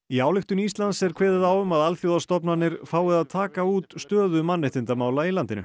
í ályktun Íslands er kveðið á um að alþjóðastofnanir fái að taka út stöðu mannréttindamála í landinu